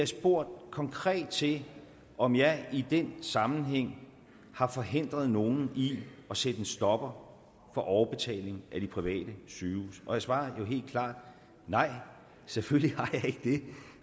spurgt konkret til om jeg i den sammenhæng har forhindret nogen i at sætte en stopper for overbetalingen af de private sygehuse og jeg svarer jo helt klart nej selvfølgelig